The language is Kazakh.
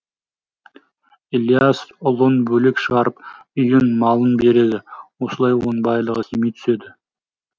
ілияс ұлын бөлек шығарып үйін малын береді осылай оның байлығы кеми түседі